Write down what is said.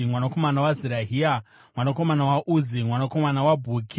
mwanakomana waZerahia, mwanakomana waUzi, mwanakomana waBhuki,